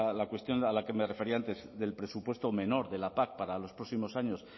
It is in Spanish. la cuestión a la que me refería antes del presupuesto menor de la pac para los próximos años